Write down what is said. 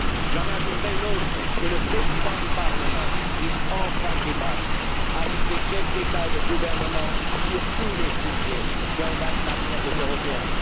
J'en adresserai une autre que le Président du Parlement puisse enfin débattre avec les chefs d'État et de gouvernement sur tous les sujets qui engagent l'avenir des Européens.